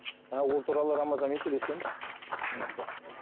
а ол туралы рамазанмен сөйлескенбіз мхм